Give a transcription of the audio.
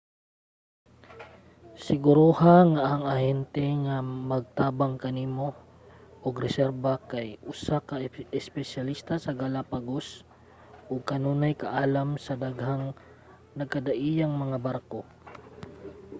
siguroha nga ang ahente nga magtabang nimo og reserba kay usa ka espesyalista sa galapagos ug adunay kaalam sa daghang nagkadaiyang mga barko